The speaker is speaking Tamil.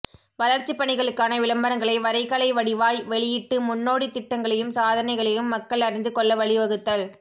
வளர்ச்சிப் பணிகளுக்கான விளம்பரங்களை வரைகலை வடிவாய் வெளியிட்டு முன்னோடித் திட்டங்களையும் சாதனைகளையும் மக்கள் அறிந்து கொள்ள வழி வகுத்தல்